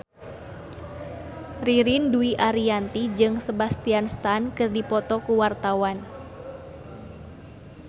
Ririn Dwi Ariyanti jeung Sebastian Stan keur dipoto ku wartawan